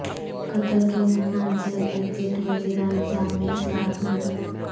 قطر کے متنازع exit visa نظام میں اصلاحات منظور